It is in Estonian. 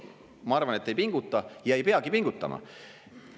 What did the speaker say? Ma arvan, et ei pinguta ja ei peagi pingutama.